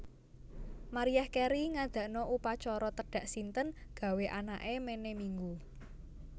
Mariah Carey ngadakno upacara tedhak sinten gawe anak e mene minggu